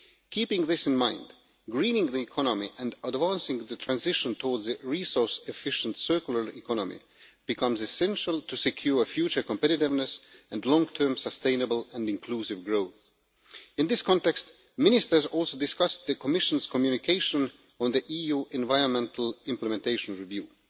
Keeping this in mind, greening the economy and advancing the transition towards a resource efficient circular economy becomes essential to secure future competitiveness and long term sustainable and inclusive growth. In this context, Ministers also discussed the Commission's communication on the EU environmental implementation review.